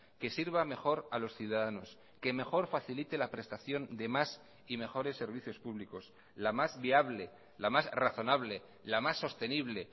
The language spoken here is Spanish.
que sirva mejor a los ciudadanos que mejor facilite la prestación de más y mejores servicios públicos la más viable la más razonable la más sostenible